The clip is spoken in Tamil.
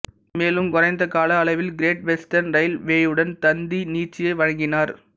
மேலும் குறைந்த கால அளவில் கிரேட் வெஸ்டர்ன் ரயில்வேயுடன் தந்தி நீட்சியை வழங்கினர்